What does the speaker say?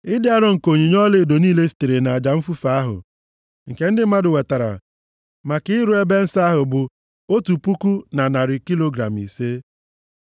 Ịdị arọ nke onyinye ọlaedo niile sitere nʼaja mfufe ahụ nke ndị mmadụ wetara maka ịrụ ebe nsọ ahụ, bụ otu puku na narị kilogram ise.